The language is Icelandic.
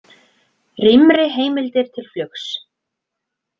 Rýmri heimildir til flugs